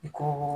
I ko